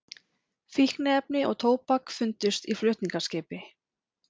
Fíkniefni og tóbak fundust í flutningaskipi